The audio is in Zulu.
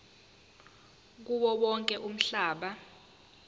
kuwo wonke umhlaba